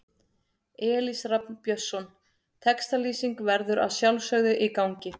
Elís Rafn Björnsson Textalýsing verður að sjálfsögðu í gangi.